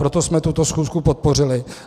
Proto jsme tuto schůzi podpořili.